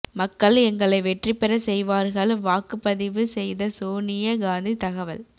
மக்கள் எங்களை வெற்றி பெற செய்வார்கள் வாக்குப்பதிவு செய்த சோனிய காந்தி தகவல்